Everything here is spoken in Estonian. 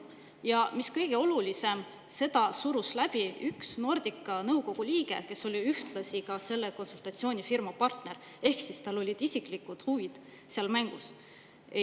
Ja mis kõige olulisem, seda surus läbi üks Nordica nõukogu liige, kes oli ühtlasi selle konsultatsioonifirma partner, ehk siis tal olid isiklikud huvid seal mängus.